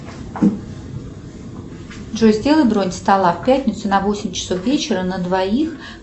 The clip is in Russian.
джой сделай бронь стола в пятницу на восемь часов вечера на двоих